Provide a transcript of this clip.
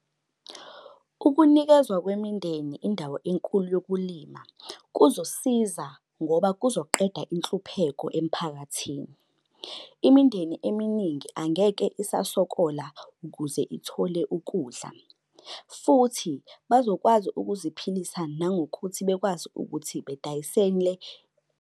Ukunikezwa kwemindeni indawo enkulu yokulima, kuzosiza ngoba kuzoqeda inhlupheko emphakathini. Imindeni eminingi angeke isasokola ukuze ithole ukudla. Futhi bazokwazi ukuziphilisa nangokuthi bekwazi ukuthi bedayisele.